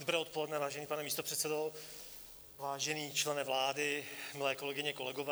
Dobré odpoledne, vážený pane místopředsedo, vážený člene vlády, milé kolegyně, kolegové.